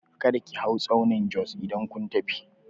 Kada ki hau tsaunin Jos idan kun tafi!